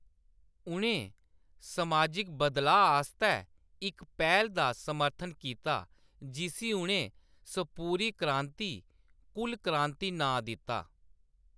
उʼनें समाजिक बदलाऽ आस्तै इक पैह्‌ल दा समर्थन कीता जिसी उʼनें सपूरी क्रांति, "कुल क्रांति" नांऽ दित्ता।